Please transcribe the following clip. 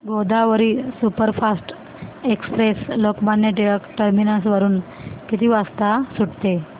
Godavari superfast express Lokmanya Tilak terminus वरून किती वाजता सुटते